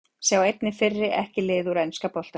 Sjá einnig: Fyrri EKKI lið úr enska boltanum